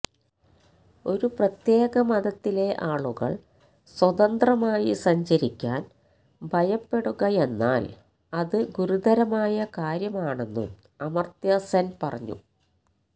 ഒരു പ്രത്യേക മതത്തിലെ ആളുകള് സ്വതന്ത്രമായി സഞ്ചരിക്കാന് ഭയപ്പെടുകയെന്നാല് അത് ഗുരുതരമായ കാര്യമാണെന്നും അമര്ത്യ സെന് പറഞ്ഞു